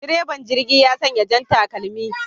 Direban jirgi ya sanya jan takalmi